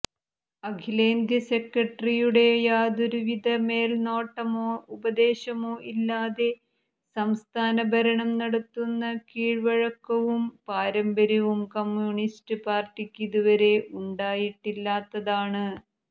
അഖിലേന്ത്യ സെക്രട്ടറിയുടെ യാതൊരുവിധ മേൽനോട്ടമോ ഉപദേശമോ ഇല്ലാതെ സംസ്ഥാന ഭരണം നടത്തുന്ന കീഴ്വഴക്കവും പാരമ്പര്യവും കമ്മ്യൂണിസ്റ്റ് പാർട്ടിക്ക് ഇതുവരെ ഉണ്ടായിട്ടില്ലാത്തതാണ്